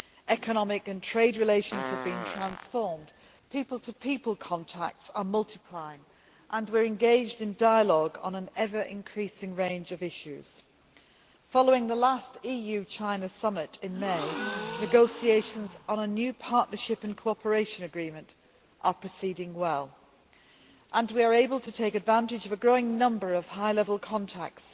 Economic and trade relations have been transformed, people to people contacts are multiplying and we are engaged in dialogue on an ever increasing range of issues. Following the last EU China Summit in May, negotiations on a new partnership and cooperation agreement are proceeding well and we are able to take advantage of a growing number of high level contacts,